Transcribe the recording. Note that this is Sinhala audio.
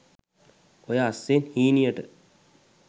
ඔය අස්සෙන් හීනියට